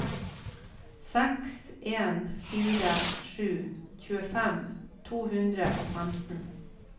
seks en fire sju tjuefem to hundre og femten